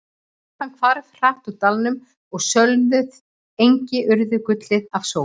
Þokan hvarf hratt úr dalnum og sölnuð engi urðu gullin af sól.